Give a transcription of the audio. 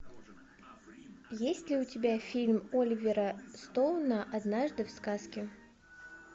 есть ли у тебя фильм оливера стоуна однажды в сказке